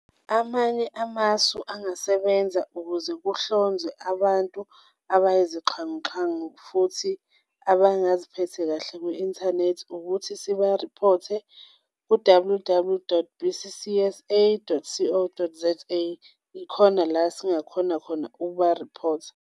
Amanye amasu angasebenza ukuze kuhlonzwe abantu abayizixhanguxhangu futhi abangaziphethe kahle ku-inthanethi ukuthi siba-report-e ku-W W W dot B_C_C_S_A dot C O dot Z A, ikhona la singa khona khona ukuba-report-a.